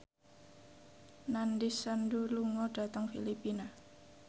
Nandish Sandhu lunga dhateng Filipina